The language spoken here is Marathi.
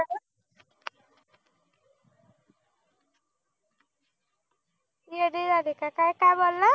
येडी झाले का काय काय बोलला